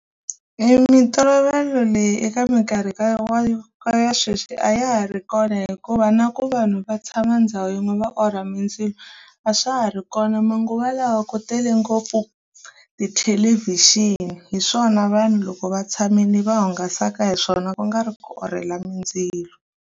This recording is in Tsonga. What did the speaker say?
Mintolovelo leyi eka mikarhi ka ka ya sweswi a ya ha ri kona hikuva na ku vanhu va tshama ndhawu yin'we va orha mindzilo a swa ha ri kona manguva lawa ku tele ngopfu tithelevhixini hi swona vanhu loko va tshamile va hungasaka hi swona ku nga ri ku orhela mindzilo.